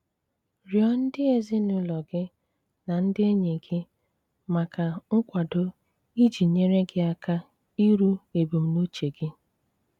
Rịọ́ ndí ézínùlò gí ná ndí énýí gí mákà nkwádó́ íjì nyéré gí áká írú ébùmnùchè gí.